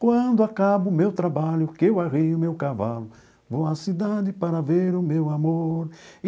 Quando acaba o meu trabalho, que eu arreio o meu cavalo, vou à cidade para ver o meu amor.